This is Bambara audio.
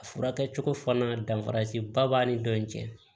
A furakɛcogo fana dafara siba b'a ni dɔ in cɛ